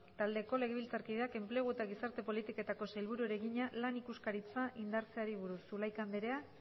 taldeko legebiltzarkideak enplegu eta gizarte politiketako sailburuari egina lan ikuskaritza indartzeari buruz zulaika andrea